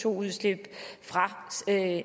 udslip